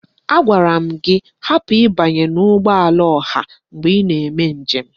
Agwara m gị hapụ ịbanye n'ụgbọala ọha mgbe ị na-eme njem!